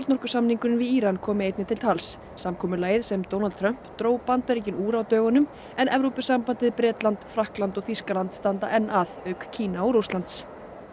kjarnorkusamningurinn við Íran komi einnig til tals samkomulagið sem Donald Trump dró Bandaríkin úr á dögunum en Evrópusambandið Bretland Frakkland og Þýskaland standa enn að auk Kína og Rússlands